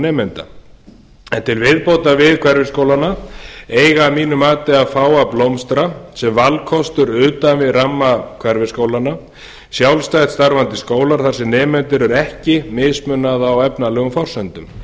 nemenda en til viðbótar við hverfisskólana eiga að mínu mati að fá að blómstra sem valkostur utan við ramma hverfisskólanna sjálfstætt starfandi skólar þar sem nemendum er ekki mismunað á efnalegum forsendum